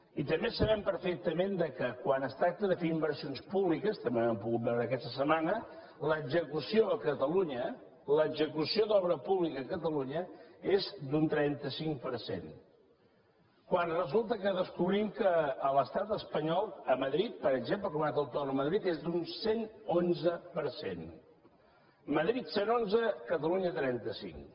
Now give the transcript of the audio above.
i també sabem perfectament que quan es tracta de fer inversions públiques també ho hem pogut veure aquesta setmana l’execució a catalunya l’execució d’obra pública a catalunya és d’un trenta cinc per cent quan resulta que descobrim que a l’estat espanyol a madrid per exemple a la comunitat autònoma de madrid és d’un cent i onze per cent madrid cent i onze catalunya trenta cinc